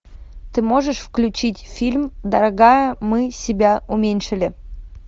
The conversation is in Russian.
ты можешь включить фильм дорогая мы себя уменьшили